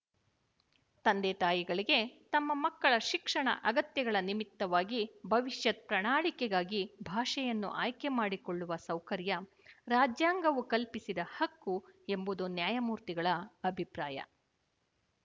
ತಂದೆ ತಾಯಿಗಳಿಗೆ ತಮ್ಮ ಮಕ್ಕಳ ಶಿಕ್ಷಣ ಅಗತ್ಯಗಳ ನಿಮಿತ್ತವಾಗಿ ಭವಿಶ್ಯತ್ ಪ್ರಣಾಳಿಕೆಗಾಗಿ ಭಾಷೆಯನ್ನು ಆಯ್ಕೆಮಾಡಿಕೊಳ್ಳುವ ಸೌಕರ್ಯ ರಾಜ್ಯಾಂಗವು ಕಲ್ಪಿಸಿದ ಹಕ್ಕು ಎಂಬುದು ನ್ಯಾಯಮೂರ್ತಿಗಳ ಅಭಿಪ್ರಾಯ